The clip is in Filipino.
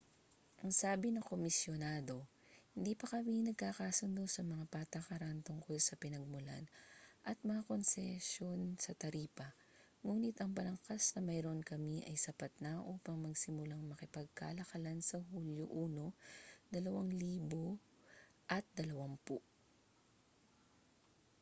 ang sabi ng komisyonado hindi pa kami nagkakasundo sa mga patakaran tungkol sa pinagmulan at mga konsesyon sa taripa nguni't ang balangkas na mayroon kami ay sapat na upang magsimulang makipagkalakalan sa hulyo 1 2020